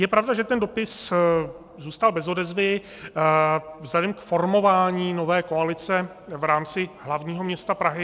Je pravda, že ten dopis zůstal bez odezvy vzhledem k formování nové koalice v rámci hlavního města Prahy.